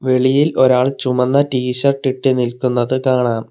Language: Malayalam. വെളിയിൽ ഒരാൾ ചുമന്ന ടീഷർട്ട് ഇട്ടു നിൽക്കുന്നത് കാണാം.